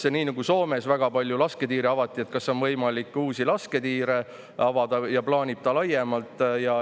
Kas nii nagu Soomes, kus väga palju lasketiire avati, on võimalik laiemalt ka meil uusi lasketiire avada?